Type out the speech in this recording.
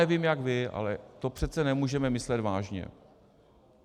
Nevím jak vy, ale to přece nemůžeme myslet vážně.